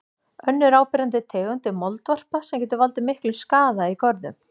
Önnur áberandi tegund er moldvarpa sem getur valdið miklum skaða í görðum.